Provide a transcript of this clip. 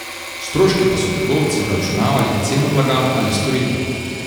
Stroške pa so trgovci vračunavali v ceno blaga ali storitev.